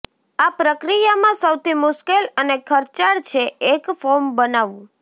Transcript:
આ પ્રક્રિયામાં સૌથી મુશ્કેલ અને ખર્ચાળ છે એક ફોર્મ બનાવવું